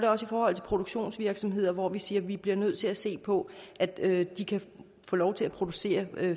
også i forhold til produktionsvirksomheder hvor vi siger at vi bliver nødt til at se på at de kan få lov til at producere